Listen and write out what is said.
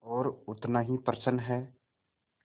और उतना ही प्रसन्न है